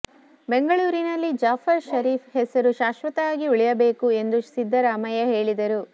ಬೆಂಗಳೂರಿನಲ್ಲಿ ಜಾಫರ್ ಶರೀಫ್ ಹೆಸರು ಶಾಶ್ವತವಾಗಿ ಉಳಿಯಬೇಕು ಎಂದು ಸಿದ್ದರಾಮಯ್ಯ ಹೇಳಿದರು